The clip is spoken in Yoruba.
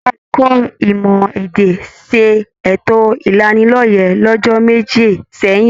Ẹka ẹ̀kọ́ ìmọ èdè ṣe ètò ìlánílọ́yẹ̀ l'ọjọ́ méjì sẹyìn.